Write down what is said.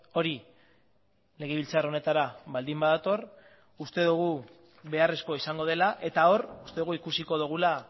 hori legebiltzar honetara baldin badator uste dugu beharrezkoa izango dela eta hor uste dugu ikusiko dugula